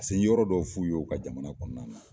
yɔrɔ dɔw f'u y'o ka jamana kɔnɔna na.